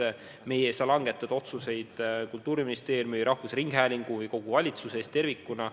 Aga meie ei saa langetada otsuseid Kultuuriministeeriumi, rahvusringhäälingu või valitsuse eest tervikuna.